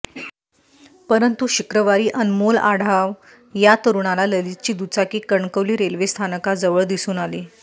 परंतु शुक्रवारी अनमोल आढाव या तरुणाला ललितची दुचाकी कणकवली रेल्वेस्थानकाजवळ दिसून आली